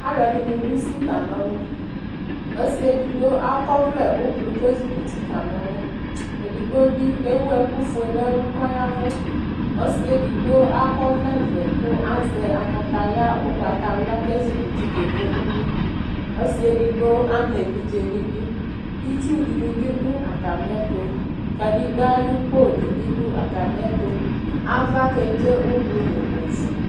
Alʋɛdɩnɩ d'usi kan'ɔlʋ, ɔsɩedigbo akɔvlɛ ʋblʋ kezikuti kan'ɔlʋ Edigbo bɩ ewu ɛkʋfue n'ɛlʋ kɔya ɛvʋ ;ɔsɩ edigbo akɔvlɛvɛ kʋ azɛ kataya ʋgbatawla kezikuti kebo uyui Ɔsɩ edigbo am'evidze n'idu itsudɩnɩ bɩ dʋ atamɩɛtʋ Kadegbǝ ayʋ podɩ bɩ dʋ atamɩɛtʋ ava kedze ʋblʋ nʋ ofue